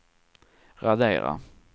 radera